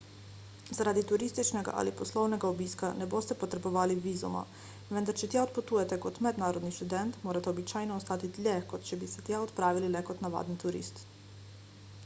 zaradi turističnega ali poslovnega obiska ne boste potrebovali vizuma vendar če tja odpotujete kot mednarodni študent morate običajno ostati dlje kot če bi se tja odpravili le kot navaden turist